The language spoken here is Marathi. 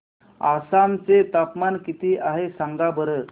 आसाम चे तापमान किती आहे सांगा बरं